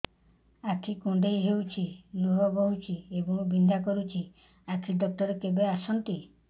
ଆଖି କୁଣ୍ଡେଇ ହେଉଛି ଲୁହ ବହୁଛି ଏବଂ ବିନ୍ଧା କରୁଛି ଆଖି ଡକ୍ଟର କେବେ ଆସନ୍ତି